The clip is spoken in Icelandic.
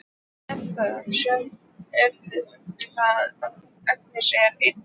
Edda sér að Agnes er ein augu.